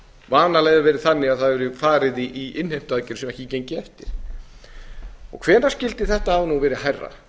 vanalega hefur það verið þannig að farið hefur verið í innheimtuaðgerðir sem ekki gengu eftir hvenær skyldi þetta hafa verið hærra